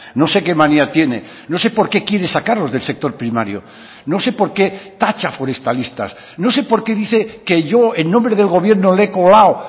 no sé qué manía tiene no sé por qué quiere sacarlos del sector primario no sé por qué tacha a forestalistas no sé por qué dice que yo en nombre del gobierno le he colado